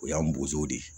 O y'an bozo de ye